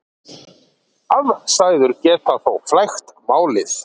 Aðstæður geta þó flækt málið.